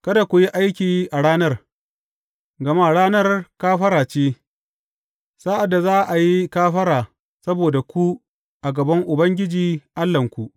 Kada ku yi aiki a ranar, gama Ranar Kafara ce, sa’ad da za a yi kafara saboda ku a gaban Ubangiji Allahnku.